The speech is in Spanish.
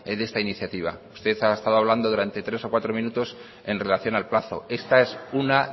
de esta iniciativa usted ha estado hablando durante tres o cuatro minutos en relación al plazo esta es una